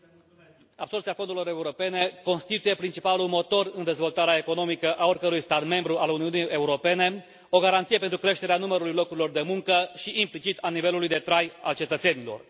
Domnule Președinte, absorbția fondurilor europene constituie principalul motor în dezvoltarea economică a oricărui stat membru al Uniunii Europene, o garanție pentru creșterea numărului locurilor de muncă și, implicit, a nivelului de trai al cetățenilor.